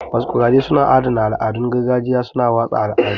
Masquerades suna adana al'adun gargajiya, suna watsa al'adu.